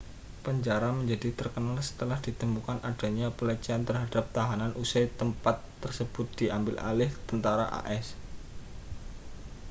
penjara menjadi terkenal setelah ditemukan adanya pelecehan terhadap tahanan usai tempat tersebut diambil alih tentara as